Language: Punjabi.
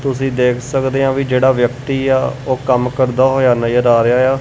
ਤੁਸੀ ਦੇਖ ਸਕਦੇ ਆਂ ਵਈ ਜਿਹੜਾ ਵਿਅਕਤੀ ਆ ਉਹ ਕੰਮ ਕਰਦਾ ਹੋਇਆ ਨਜ਼ਰ ਆ ਰਿਹਾ ਐ।